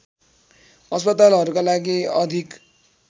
अस्पतालहरूका लागि अधिक